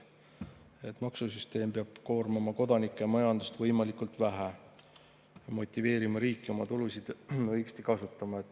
et maksusüsteem peab koormama kodanikke ja majandust võimalikult vähe ning motiveerima riiki oma tulusid õigesti kasutama.